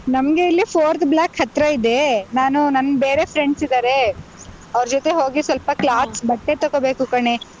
ನಮ್ಗೆ ಇಲ್ಲಿ fourth block ಹತ್ರ ಇದೆ, ನಾನು ನನ್ ಬೇರೆ friends ಇದ್ದಾರೆ , ಅವ್ರ್ ಜೊತೆ ಹೋಗಿ ಸ್ವಲ್ಪ cloths ಬಟ್ಟೆ ತಕೋಬೇಕು ಕಣೇ.